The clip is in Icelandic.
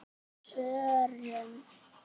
Á FÖRUM?